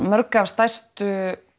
mörg af stærstu